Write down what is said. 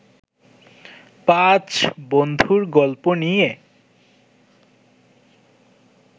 পাঁচ বন্ধুর গল্প নিয়ে